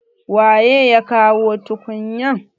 waye ya kawo tukunya?